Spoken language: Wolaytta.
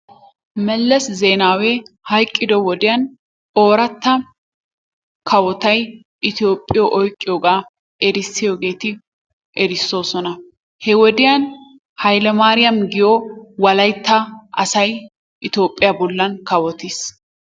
Melese Zeenawe hayqqiddo wodiyan ooratta kawotay Itoophphiyo oyqqiyogaa erissiyogeeti erissoosona. He wodiyan Haylemaariya giyo wolaytta asay Itoophphiya bollan kawottiis.